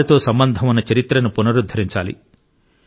వారితో సంబంధం ఉన్న చరిత్రను పునరుద్ధరించాలి